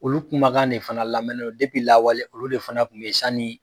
Olu kumakan de fana lamɛn ne don depi lawale olu de fana kun be ye sanii